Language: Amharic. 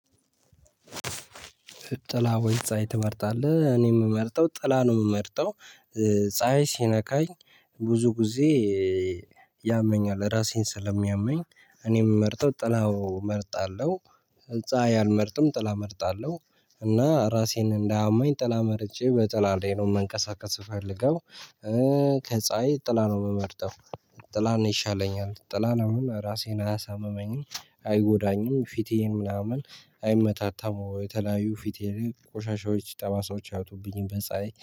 ጥላ ወይ ጻይ ትመርጣለህ? እኔ የምመርጠው ጥላ ነው የምመርጠው። ጻሀይ ሲነካኝ ብዙ ጊዜ ያመኛል። ራሴን ስለሚያመኝ እኔም እመርጠው ጥላው እመርጣለሁ። ጻሀይ አልመርጥም ጥላ እመርጣለሁ። እና ራሴን እንዳያመኝ ጥላ መርጬ በጥላ ላይ ነው መንቀሳቀስ የምፈልገው። ከፀሀይ ጥላ ነው የምመርጠው። ጥላ ነው ይሻለኛል። ጥላን አሁን ራሴን አያሳምመኝም አይጎዳኝም ፊቴን ምናምን አይመታታም የተለያዩ ፊቴ ቆሻሻዎች ጠባሳዎች አይወጡብኝም በፀሀይ